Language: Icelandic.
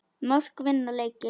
Mörk vinna leiki.